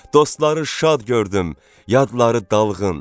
Dostları şad gördüm, yadları dalğın.